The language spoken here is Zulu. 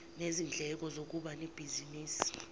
nezindleko zokuba nebhizinisi